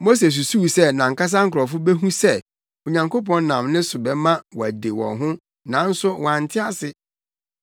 Mose susuw sɛ nʼankasa nkurɔfo behu sɛ Onyankopɔn nam ne so bɛma wɔade wɔn ho nanso wɔante ase.